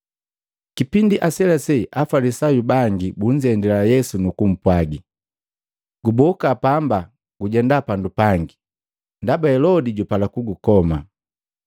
Kipindi aselase Afalisayu bangi bunzendila Yesu nukumpwagi, “Guboka pamba gujenda pandu pangi, ndaba Helodi jupala kugukoma.”